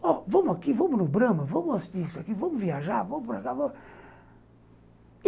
Vamos aqui, vamos no Brama, vamos assistir isso aqui, vamos viajar, vamos para cá.